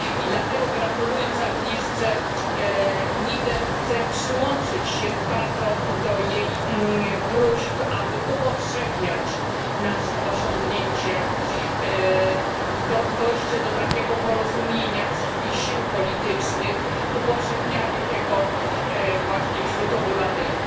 I dlatego, gratulując Angelice Niebler, chcę przyłączyć się do jej próśb, aby upowszechniać nasze osiągnięcie dojście do takiego porozumienia wszystkich sił politycznych, upowszechnianie tego właśnie wśród obywateli,